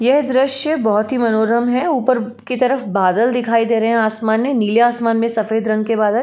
यह दृश्य बहुत ही मनोरम है ऊपर की तरफ बादल दिखाइ दे रहे हैं आसमान में नीले आसमान में सफेद रंग के बादल।